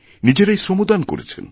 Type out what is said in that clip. নিজেরাই শ্রমদান করেছেন